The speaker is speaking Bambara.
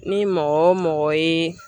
Ni mɔgɔ o mɔgɔ ye.